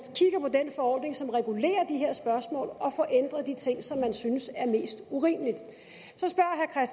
den forordning som regulerer de her spørgsmål og få ændret de ting som man synes er mest urimelige